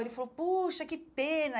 Ele falou, poxa, que pena.